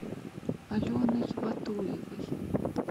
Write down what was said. аленой батуевой